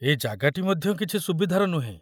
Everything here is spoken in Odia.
ଏ ଜାଗାଟି ମଧ୍ୟ କିଛି ସୁବିଧାର ନୁହେଁ।